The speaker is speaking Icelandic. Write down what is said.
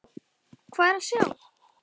Hvað er að sjá